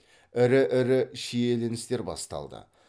ірі ірі шиеленістер басталды